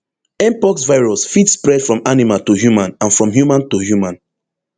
mpox virus fit spread from animal to human and from human to human